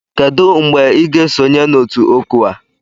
Kedu mgbe ị ga-esonye na otu OCWA?